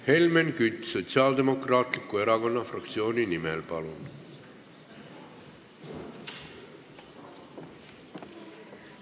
Helmen Kütt Sotsiaaldemokraatliku Erakonna fraktsiooni nimel, palun!